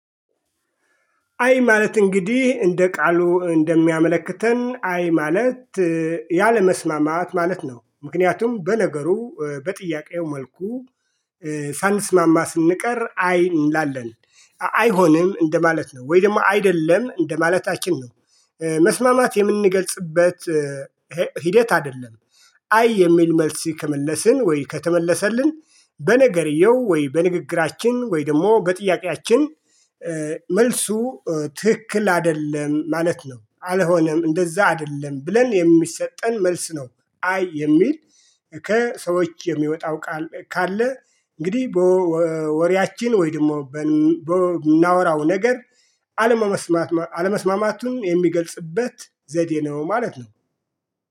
አይ ማለት እንግዲህ እንደ ቃሉ እንደሚያመለክተን አይ ማለት ያለመስማማት ማለት ነው። ምክንያቱም በነገሩ በጥያቄው መልኩ ሳንስማማ ስንቀር አይ እንላለን አይሆንም እንደማለት ነው ወይ ደግሞ አይደለም እንደማለታችን ነው። መስማማት የምንገልጽበት ሂደት አይደለም። አይ የሚል መልስ ከመለስን ወይ ከተመለሰልን በነገርየው ወይ በንግግራችን ወይ ደግሞ በጥያቄያችን መልሱ ትክክል አይደለም ማለት ነው። አልሆነም እንደዛ አይደለም ብለን የሚሰጠን መልስ ነው። አይ የሚል ከሰዎች የሚወጣው ቃል ካለ እንግዲህ በወሬያችን ወይ ደግሞ በምናወራው ነገር አለመስማማ አለመስማማቱን የሚገልጽበት ዘዴ ነው። ማለት ነው